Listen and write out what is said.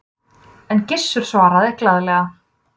En Gissur svaraði glaðlega